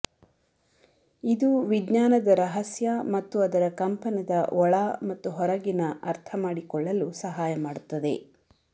ಇದು ವಿಜ್ಞಾನದ ರಹಸ್ಯ ಮತ್ತು ಅದರ ಕಂಪನದ ಒಳ ಮತ್ತು ಹೊರಗಿನ ಅರ್ಥ ಮಾಡಿಕೊಳ್ಳಲು ಸಹಾಯ ಮಾಡುತ್ತದೆ